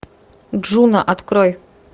джуна открой